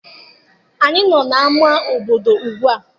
Anyị nọ n'ama obodo ugbua.